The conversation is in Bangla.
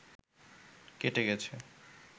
কেটে গেছে